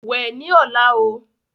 Wẹ ni ọ̀la o!